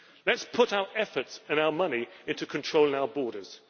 Let us put our efforts and our money into controlling our borders